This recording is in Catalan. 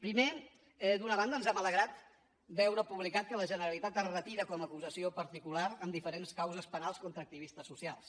primer d’una banda ens ha alegrat veure publicat que la generalitat es retira com a acusació particular en diferents causes penals contra activistes socials